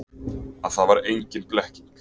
Að það var engin blekking.